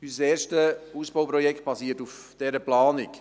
Unser erstes Ausbauprojekt basiert auf dieser Planung.